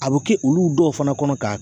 A be kɛ olu dɔw fana kɔnɔ k'a